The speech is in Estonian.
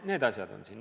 Need asjad loevad.